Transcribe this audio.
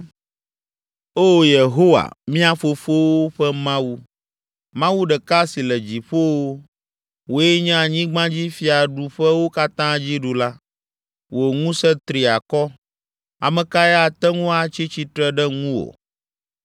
“Oo Yehowa, mía fofowo ƒe Mawu, Mawu ɖeka si le dziƒowo, wòe nye anyigbadzifiaɖuƒewo katã Dziɖula, wò ŋusẽ tri akɔ, ame kae ate ŋu atsi tsitre ɖe ŋuwò?